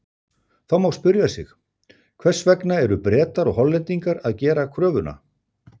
Þá má spyrja sig: Hvers vegna eru Bretar og Hollendingar að gera kröfuna?